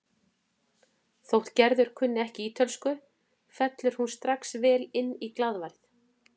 Þótt Gerður kunni ekki ítölsku fellur hún strax vel inn í glaðværð